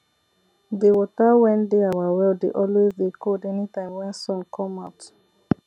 de wata wen dey our well dey always dey cold anytime wen sun come out